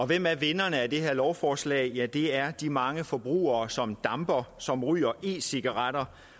hvem er vinderne i det her lovforslag det er de mange forbrugere som damper som ryger e cigaretter